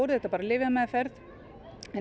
þetta bara lyfjameðferð en